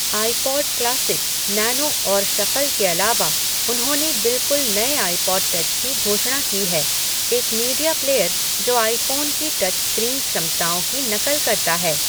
IPod classic, nano और shuffle के अलावा, उन्होंने बिल्कुल नए आईपॉड टच की घोषणा की है, एक मीडिया प्लेयर जो आईफोन की टच स्क्रीन क्षमताओं की नकल करता है।